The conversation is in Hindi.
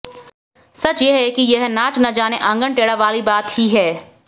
सच यह है कि यह नाच न जाने आंगन टेढ़ा वाली बात ही है